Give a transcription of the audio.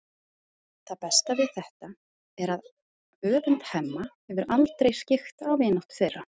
Það besta við þetta er að öfund Hemma hefur aldrei skyggt á vináttu þeirra.